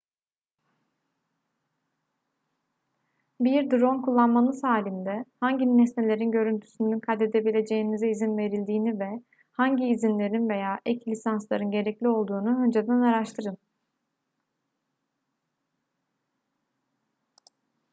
bir drone kullanmanız halinde hangi nesnelerin görüntüsünü kaydedebileceğinize izin verildiğini ve hangi izinlerin veya ek lisansların gerekli olduğunu önceden araştırın